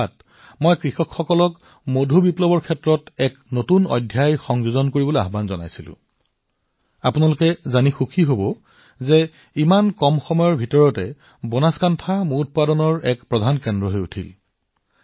সেই কাৰ্যসূচীত মই মানুহক কৈছিলো যে ইয়াত ইমান সম্ভাৱনা আছে বনাসকাণ্ঠা আৰু আমাৰ ইয়াৰ কৃষকসকলে মিঠা বিপ্লৱৰ এটা নতুন অধ্যায় নিলিখে কিয় আপোনালোকে জানি সুখী হব ইমান কম সময়ৰ ভিতৰত বনাসকাষ্ঠা মৌ উৎপাদনৰ এক মুখ্য কেন্দ্ৰ হৈ পৰিছে